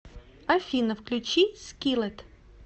афина включи скиллет